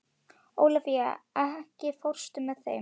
Ólafía, ekki fórstu með þeim?